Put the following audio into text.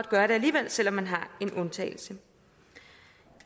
gøre det alligevel selv om man har en undtagelse